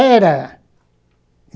Era!